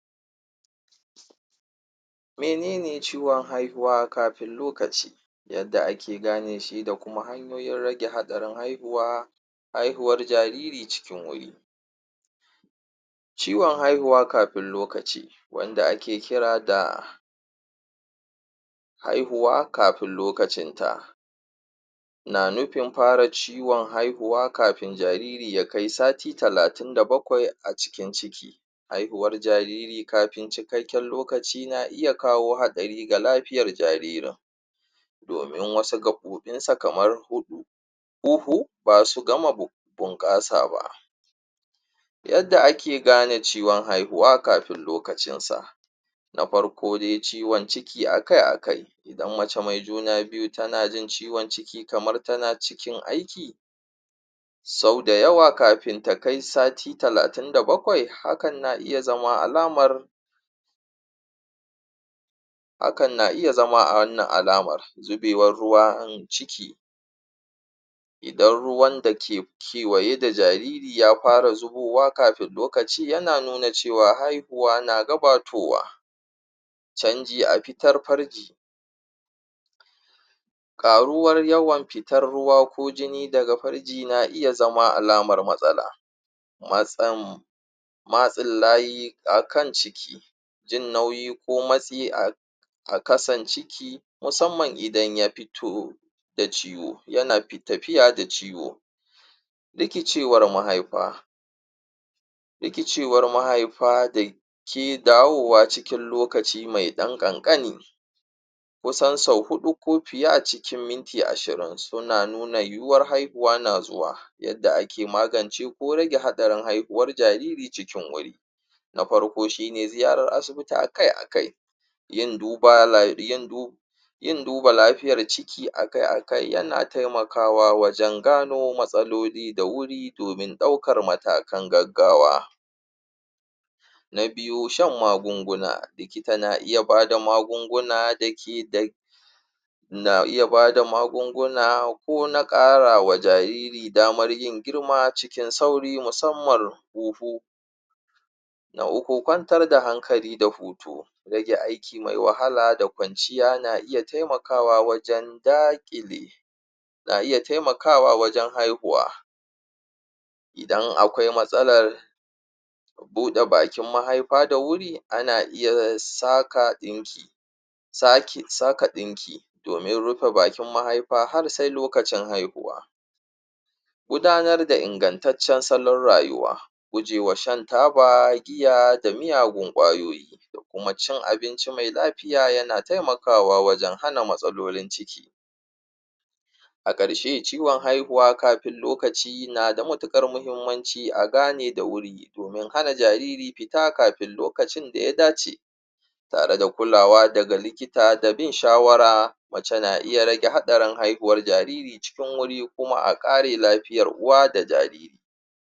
Menene ciwon haihuwa kafin lokaci yadda ake gane shi da kuma hanyoyin rage haɗarin haihuwa haihuwar jariri cikin wuri ciwon haihuwa kafin lokaci wanda ake kira da haihuwa kafin lokacin ta na nufin fara ciwon haihuwa kafin jariri ya kai sati talatin da bakwai a cikin ciki haihuwar jariri kafin cikakken lokaci na iya kawo haɗari ga lafiyar jaririn domin wasu gaɓoɓin sa kamar hu huhu ba su gama bunƙasa ba yadda ake gane ciwon haihuwa kafin lokacin sa na farko dai ciwon ciki akai akai idan mace mai juna biyu tana jin ciwon ciki kamar tana cikin aiki sau da yawa kafin ta kai sati talatin da bakwai hakan na iya zama alamar hakan na iya zama wannan alamar zubewar ruwan ciki idan ruwan da ke kewaye da jariri ya fara zubowa kafin lokaci yana nuna cewa haihuwa na gabatowa chanji a fitar farji ƙaruwar yawan fitar ruwa ko jini daga farji na iya zama alamar matsala matsam matsin layi akan ciki jin nauyi ko matsi akan a ƙasan ciki musamman idan ya fiti da ciwo yana tafiya da ciwo rikicewar mahaifa rikicewar mahaifa da ke dawowa lokaci mai ɗan ƙanƙani kusan sau huɗu ko fiye a cikin minti ashirin suna nuna yiwuwar haihuwa na zuwa yadda ake magance ko rage haɗarin haihuwar jariri cikin wuri na farko shine ziyarar asibiti akai akai yan duba la yan dub yin duba lafiyar ciki akai akai yana taimakawa wajen gano ko matsaloli da wuri domin ɗaukan matakan gaggawa na biyu shan magunguna likita na iya bada magunguna da ke da na iya bada magunguna ko na karawa jariri damar yin girma cikin sauri musamman kofo na uku kwantar da hankali da hutu rage aiki mai wahala da kwanciya na iya taimakawa wajen daƙile na iya taimakawa wajen haihuwa idan akwai matsalar buɗe bakin mahaifa da wuri ana iya sa ka ɗinki sa ke sa ka dinki domin rufe bakin mahaifa har sai lokacin haihuwa gudanar da ingantaccen salon rayuwa guje wa shan taba giya da miyagun kwayoyi da kuma cin abinci mai lafiya yana taimakawa wajen hana matsalolin ciki a karshe ciwon haihuwa kafin lokaci na da matukar muhimmanci a gane da wuri domin hana jariri fita kafin lokacin da ya dace tare da kulawa daga likita da bin shawara mace na iya rage hadarin haihuwar jariri cikin wuri kuma a ƙare lafiyar uwa da jariri